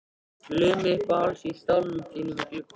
Lömuð uppað hálsi í stólnum þínum við gluggann.